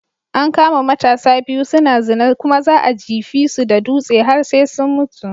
An kama matasa biyu suna zina kuma za'a jefisu da dutsi har sai sun mutu.